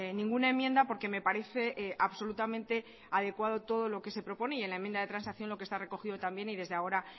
ninguna enmienda porque me parece absolutamente adecuado todo lo que se propone y en la enmienda de transacción lo que está recogido también y desde ahora